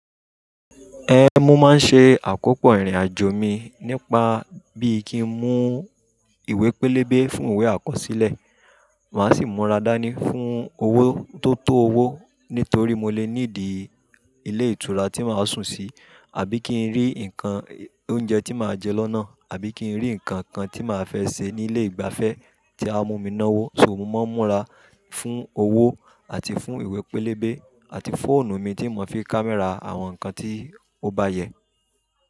Ẹhn, mo máa ń ṣe àkópọ̀ ìrìn-àjò mi nípa bí kí n mú ìwé pélébé fún ìwé àkọsílẹ̀, màá sì múra dání fún owó tó tó owó nítorí mo lè need ilé ìtura tí màá sùn sí, àbí kí n rí nǹkan oúnjẹ tí màá jẹ lọ́nà, àbí kí n rí ǹkan kan tí màá fẹ́ ṣe ní ilé ìgbafẹ́ tí á mú mi náwó. So mo máa ń múra fún owó àti fún ìwé pélébé àti fóònù mi tí mo fi ń kámẹ́rà àwọn ǹkan tí ó bá yẹ.